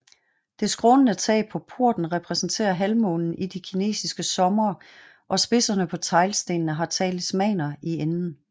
Det skrånende tag på porten repræsenterer halvmånen i de kinesiske somre og spidserne på teglstenene har talismaner i enden